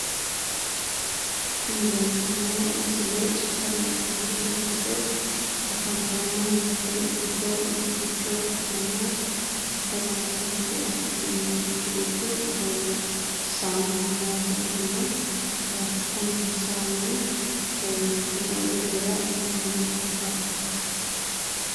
Tin leeltanno misile super marketete giddo afantannote giddo mitticho ikkitanno super marketete giddo kuni saamunaho. Kuni saamuni me'u birrira hiramannohokka?